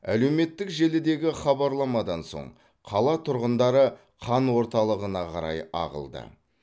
әлеуметтік желідегі хабарламадан соң қала тұрғындары қан орталығына қарай ағылды